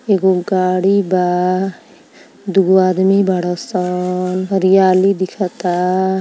एगो गाड़ी बा। दुगो आदमी बड़ासन। हरियाली दिखता।